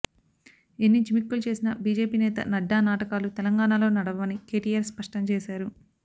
ఎన్ని జిమ్మిక్కులు చేసినా బీజేపీ నేత నడ్డా నాటకాలు తెలంగాణలో నడవవని కేటీఆర్ స్పష్టం చేశారు